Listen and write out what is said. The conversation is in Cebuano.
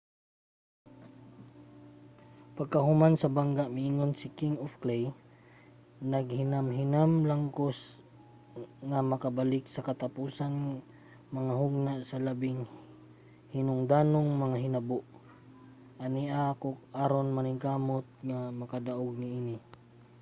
pagkahuman sa bangga miingon si king of clay naghinamhinam lang ako nga makabalik sa katapusang mga hugna sa labing hinungdanong mga hinabo. ania ako aron maningkamot nga makadaog niini.